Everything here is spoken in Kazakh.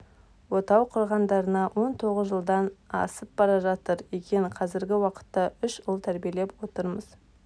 отау құрғандарына он тоғыз жылдан асып бара жатыр екен қазіргі уақытта үш ұл тәрбиелеп отырмыз